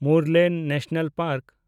Murlen national park